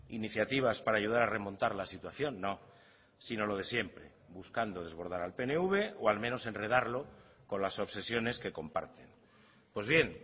iniciativas para ayudar a remontar la situación no sino lo de siempre buscando desbordar al pnv o al menos enredarlo con las obsesiones que comparten pues bien